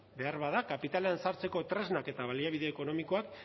behar bada kapitalean sartzeko tresnak eta baliabide ekonomikoak